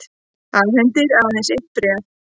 Afhendir aðeins eitt bréf